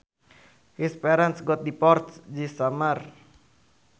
His parents got divorced this summer